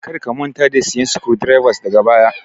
Kar ka manta da siyan screw drivers daga baya